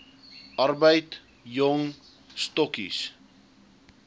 arbeid jong stokkies